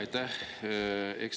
Aitäh!